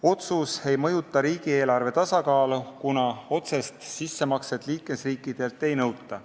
Otsus ei mõjuta riigieelarve tasakaalu, kuna otsest sissemakset liikmesriikidelt ei nõuta.